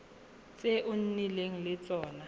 tse o nnileng le tsone